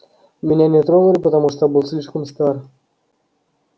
меня не тронули потому что я был слишком стар